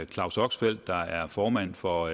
claus oxfeldt der er formand for